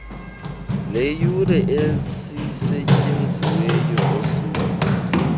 leeyure ezisetyenziweyo ngosuku